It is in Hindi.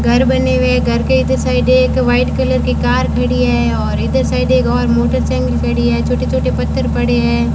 घर बने हुए हैं घर के इधर साइड एक व्हाइट कलर की कार खड़ी है और इधर साइड एक और मोटरसाइकिल खड़ी है छोटे-छोटे पत्थर पड़े हैं।